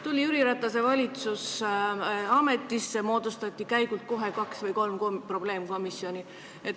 Tuli Jüri Ratase valitsus ametisse ja kohe käigult moodustati kaks või kolm probleemkomisjoni.